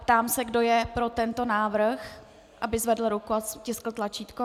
Ptám se, kdo je pro tento návrh, aby zvedl ruku a stiskl tlačítko.